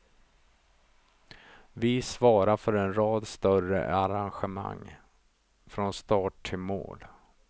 Vi svarar för en rad större arrangemang, från start till mål.